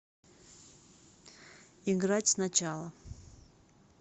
играть сначала